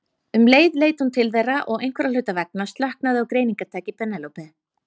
Um leið leit hún til þeirra og einhverra hluta vegna slöknaði á greiningartæki Penélope.